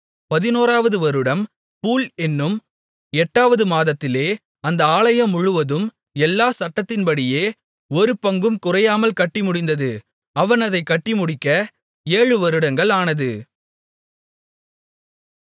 11 வது வருடம் பூல் என்னும் 8 வது மாதத்திலே அந்த ஆலயம்முழுவதும் எல்லா சட்டதிட்டத்தின்படியே ஒருபங்கும் குறையாமல் கட்டி முடிந்தது அவன் அதைக் கட்டிமுடிக்க 7 வருடங்கள் ஆனது